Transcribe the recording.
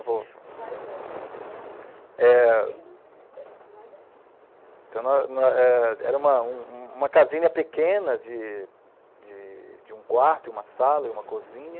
eu vou. Mas é, o São João Batista, bem no cemitério, mais antigo. Então não não , eh, era um um umacasinha pequena de de um quarto e uma sala e uma cozinha.